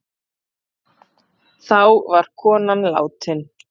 Þá var konan látin.